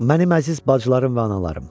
Mənim əziz bacılarım və analarım!